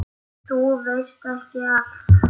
Þú veist ekki allt.